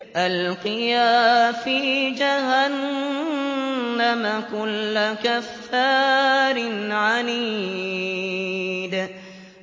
أَلْقِيَا فِي جَهَنَّمَ كُلَّ كَفَّارٍ عَنِيدٍ